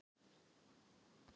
Og ég sit hér enn.